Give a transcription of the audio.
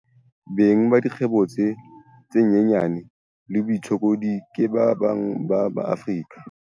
Beng ba dikgwebo tse nyenyane le baitshokodi ke ba bang ba Maafrika.